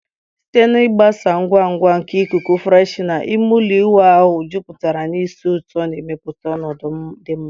Site na ịgbasa ngwa ngwa nke ikuku freshener, ime ụlọ ịwụ ahụ jupụtara na ísì ụtọ, na-emepụta ọnọdụ dị mma.